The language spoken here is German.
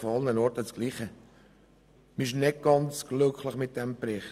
Man ist nicht ganz glücklich mit diesem Bericht.